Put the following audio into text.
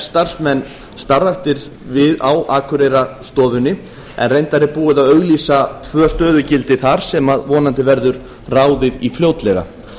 starfsmenn starfræktir á akureyrarstofunni en reyndar er búið að auglýsa tvö stöðugildi þar sem vonandi verður ráðið í fljótlega